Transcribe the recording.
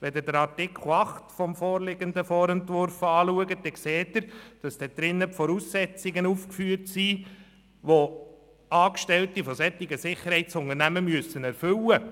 Wenn Sie Artikel 8 des Vorentwurfs lesen, dann sehen Sie darin die Voraussetzungen aufgeführt, die Angestellte dieser Sicherheitsunternehmen erfüllen müssen.